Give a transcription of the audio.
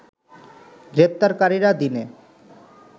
গ্রেপ্তারকারীরা দিনে